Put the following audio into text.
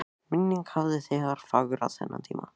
Minningin hafði þegar fegrað þennan tíma.